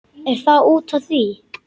Er það út af því?